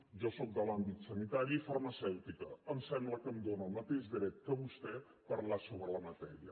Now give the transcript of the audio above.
jo sóc de l’àmbit sanitari farmacèutica em sembla que em dóna el mateix dret que a vostè parlar sobre la matèria